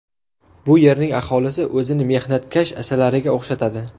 Bu yerning aholisi o‘zini mehnatkash asalariga o‘xshatadi.